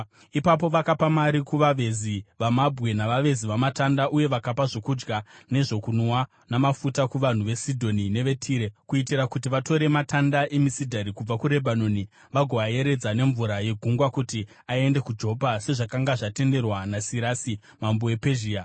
Ipapo vakapa mari kuvavezi vamabwe navavezi vamatanda, uye vakapa zvokudya nezvokunwa namafuta kuvanhu veSidhoni neveTire, kuitira kuti vatore matanda emisidhari kubva kuRebhanoni vagoayeredza nemvura yegungwa kuti aende kuJopa, sezvakanga zvatenderwa naSirasi mambo wePezhia.